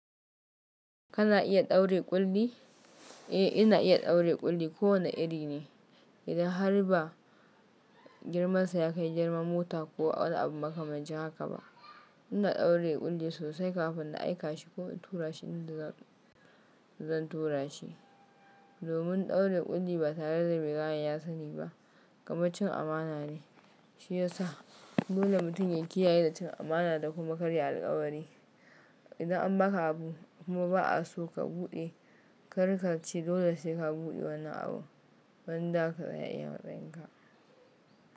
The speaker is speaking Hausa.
Kana iya ɗaure ƙulli? Eh, ina iya ɗaure ƙulli ko wane iri ne, idan har ba girmansa yakai girman mota ko wani abu makamancin haka ba. Ina ɗaure ƙulli sosai kafin na aika shi ko in tura shi inda zan turashi. Domin ɗaure ƙulli ba tareda mai kayan ya saniba, kamar cin amana ne. Shiyasa dole mutum ya kiyaye da cin amana da kuma karya alƙawari. Idan an baka abu kuma ba'aso ka buɗe, karka ce dole sai ka buɗe wannan abun, wanda ka iya matsayinka.